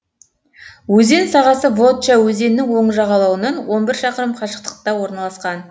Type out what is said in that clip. өзен сағасы вотча өзенінің оң жағалауынан он бір шақырым қашықтықта орналасқан